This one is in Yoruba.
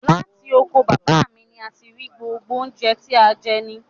Látì oko baba mi ní a ti n rí gbógbo ọ̀un jẹ̀ tì an jẹ ni.